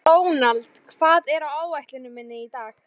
Ronald, hvað er á áætluninni minni í dag?